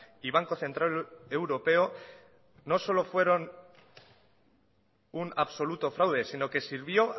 y banco central europeo no solo fueron un absoluto fraude sino que sirvió